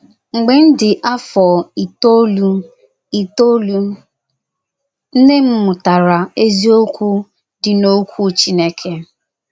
Mgbe m dị afọ itoolu itoolu, nnem mụtara eziokwu dị n’okwu Chineke.